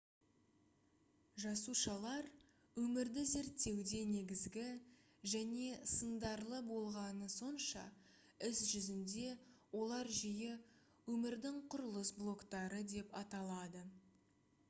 жасушалар өмірді зерттеуде негізгі және сындарлы болғаны сонша іс жүзінде олар жиі «өмірдің құрылыс блоктары» деп аталады